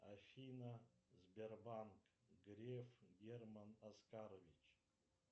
афина сбербанк греф герман оскарович